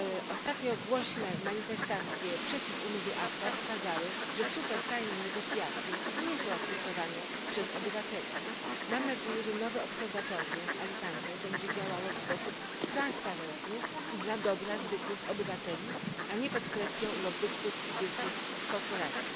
Ostatnio głośne manifestacje przeciw umowie ACTA pokazały, że supertajne negocjacje nie są akceptowane przez obywateli. Mam nadzieję, że nowe obserwatorium w Alicante będzie działało w sposób transparentny i dla dobra zwykłych obywateli, a nie pod presją lobbystów z wielkich korporacji.